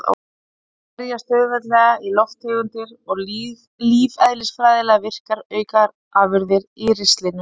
Þau gerjast auðveldlega í lofttegundir og lífeðlisfræðilega virkar aukaafurðir í ristlinum.